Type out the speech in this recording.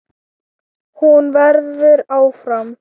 Hún verður áfram.